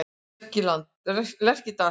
Lerkidal